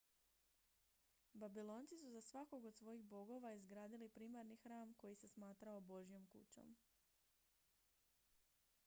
babilonci su za svakog od svojih bogova izgradili primarni hram koji se smatrao božjom kućom